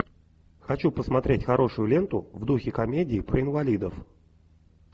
хочу посмотреть хорошую ленту в духе комедии про инвалидов